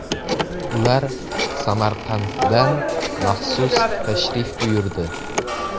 Ular Samarqanddan maxsus tashrif buyurdi.